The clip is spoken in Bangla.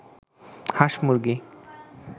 হাঁস-মুরগি